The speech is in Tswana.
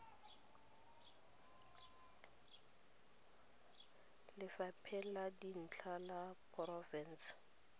lefapheng la dintlo la porofense